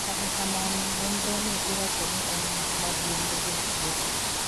kata kamano nonro ni iwacho ni en mich maduong' ne jotuwo